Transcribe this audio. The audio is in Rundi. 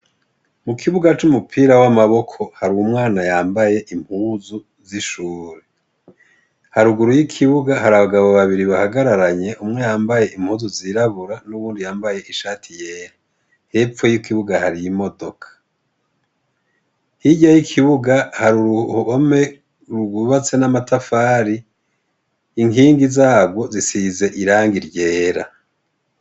Mu kibuga c'umupira w'amaboko hari umwana yambaye impuzu z'ishure haruguru y'ikibuga hari abagabo babiri bahagararanye umwe yambaye impuzu zirabura n'uwundi yambaye ishati yera hepfo y'ikibuga hari y'imodoka hirya y'ikibuga hari uruhome rwubatse n'amatafari inkingi zagwo zisize iranga ryera.